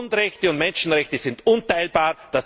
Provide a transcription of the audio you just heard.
Grundrechte und Menschenrechte sind unteilbar!